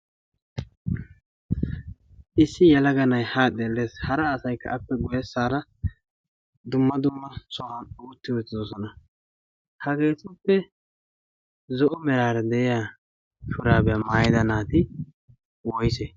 issi yalaga na'ai haa xeellees hara asaikka appe goye saara dumma dumma so7an ootti uttidosona. hageetuppe zo7o meraara de7iya puraabiyaa maayida naati woise?